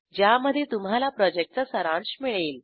ज्यामध्ये तुम्हाला प्रॉजेक्टचा सारांश मिळेल